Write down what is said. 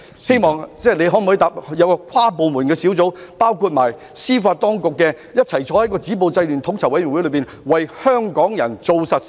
司長可否承諾會成立包括司法當局代表的跨部門小組或統籌委員會，為香港人做實事呢？